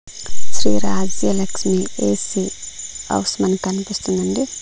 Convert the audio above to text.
Shri Rajyalakshmi AC house మనకన్పిస్తుందండి.